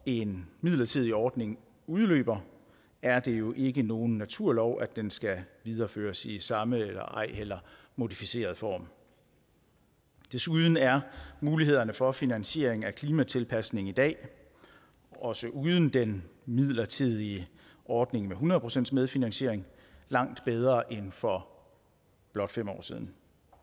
en midlertidig ordning udløber er det jo ikke nogen naturlov at den skal videreføres i samme eller ej heller modificeret form desuden er mulighederne for finansiering af klimatilpasning i dag også uden den midlertidige ordning med hundrede procent medfinansiering langt bedre end for blot fem år siden